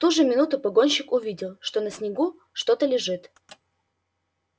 в ту же минуту погонщик увидел что на снегу что то лежит